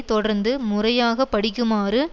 தொடர்ந்து முறையாக படிக்குமாறு